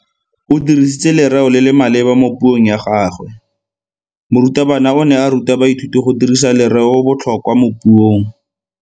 O dirisitse lereo le le maleba mo puong ya gagwe. Morutabana o ne a ruta baithuti go dirisa lereobotlhokwa mo puong.